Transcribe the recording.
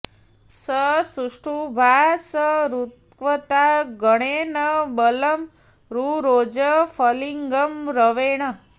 स सु॒ष्टुभा॒ स ऋक्व॑ता ग॒णेन॑ व॒लं रु॑रोज फलि॒गं रवे॑ण